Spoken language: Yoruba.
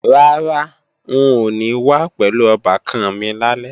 Rárá, n ò ní wá pẹ̀lú ọbàkan mi lálẹ́